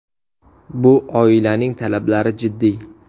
Bu oilaning talablari jiddiy.